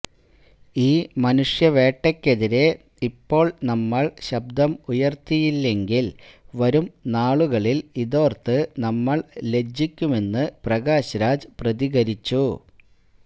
ഈ മനുഷ്യ വേട്ടയ്ക്കെതിരെ ഇപ്പോൾ നമ്മൾ ശബ്ദം ഉയർത്തിയില്ലെങ്കിൽ വരും നാളുകളിൽ ഇതോർത്ത് നമ്മൾ ലജ്ജിക്കുമെന്ന് പ്രകാശ് രാജ് പ്രതികരിച്ചു